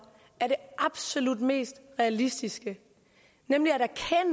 er det absolut mest realistiske nemlig